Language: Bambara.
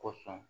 Ko sɔn